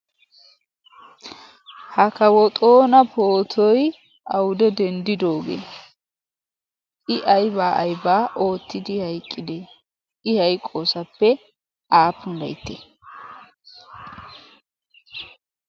ha kawo xoona pootoi aude denddidoogee? i aibaa aibaa oottidi haiqqidee? i haiqoosappe aappun laitte?